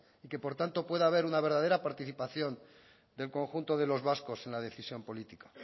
y que por tanto pueda haber una verdadera participación del conjunto de los vascos en la decisión política